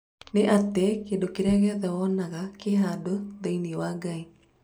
Nĩ atĩ, kĩrĩa gĩothe wonaga kĩ handũthĩinĩĩ wa Ngai.